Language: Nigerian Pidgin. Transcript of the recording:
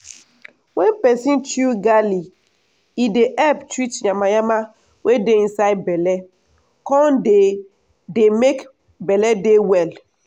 wen peson chew garlic e dey help treat yanmayanma wey dey inside belle come dey dey make belle dey well.